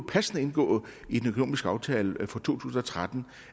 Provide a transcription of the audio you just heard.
passende indgå i den økonomiske aftale for to tusind og tretten